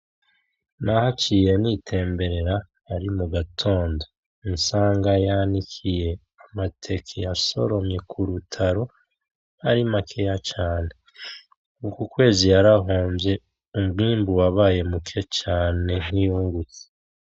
Nahaciye nitemberera ari mu gatondo nsanga yanikiye amateke yasoromye ku rutaro ari makeya cane, uku kwezi yarahomvye umwibu wabaye muke cane ntiyungutse.